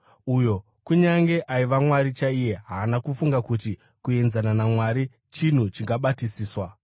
Uyo, kunyange aiva Mwari chaiye, haana kufunga kuti kuenzana naMwari chinhu chingabatisiswa,